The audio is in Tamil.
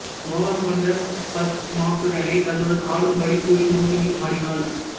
மோகம் கொண்ட பஸ்மாசுரனை தன்னுடன் ஆடும் படி கூறி மோகினி ஆடினாள்